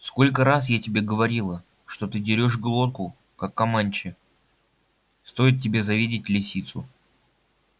сколько раз я тебе говорила что ты дерёшь глотку как команчи стоит тебе завидеть лисицу